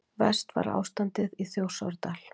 Verst var ástandið í Þjórsárdal.